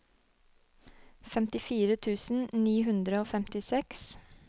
femtifire tusen ni hundre og femtiseks